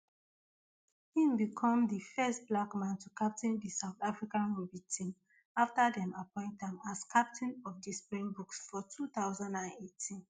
im become di first black man to captain di south african rugby team afta dem appoint am as captain of di springboks for two thousand and eighteen